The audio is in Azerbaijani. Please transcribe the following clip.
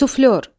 Suflör.